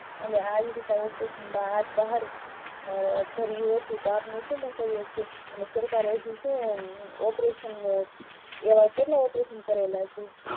અને આવી રીતે operation માં હાથ બહાર ધરિયો હતો સરકારે હજુ કેટલા operation કારિયા છે.